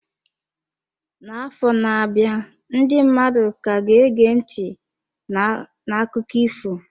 N'afọ na-abịa, ndị mmadụ ka ga-ege ntị n'akụkọ ifo.